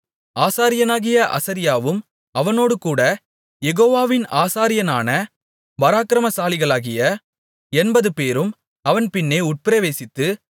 ஆசாரியனாகிய அசரியாவும் அவனோடுகூடக் யெகோவாவின் ஆசாரியரான பராக்கிரமசாலிகளாகிய எண்பதுபேரும் அவன் பின்னே உட்பிரவேசித்து